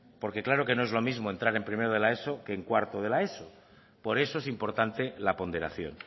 porque claro que no es lo mismo entrar en primero de la eso o en cuarto de la eso por eso es importante la ponderación